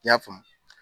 I y'a faamu